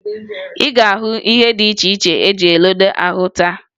Ị ga-ahụ ihe dị iche iche eji eledo ahụ taa